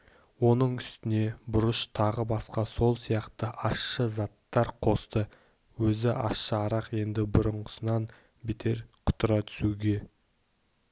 оның үстіне бұрыш тағы басқа сол сияқты ащы заттар қосты өзі ащы арақ енді бұрынғысынан бетер құтыра түсуге